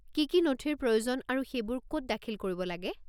কি কি নথিৰ প্ৰয়োজন আৰু সেইবোৰ ক'ত দাখিল কৰিব লাগে?